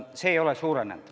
See ei ole suurenenud.